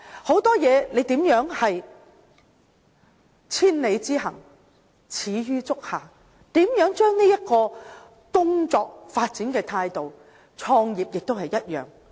很多事情都是千里之行，始於足下，要思考如何利用這種工作發展的態度，創業也一樣。